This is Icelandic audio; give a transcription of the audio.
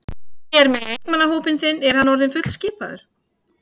Hvernig er með leikmannahópinn þinn, er hann orðinn fullskipaður?